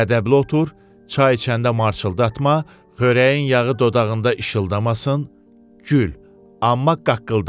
ədəbli otur, çay içəndə marçıldatma, xörəyin yağı dodağında işıldamasın, gül, amma qaqqıldama.